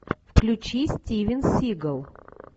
включи стивен сигал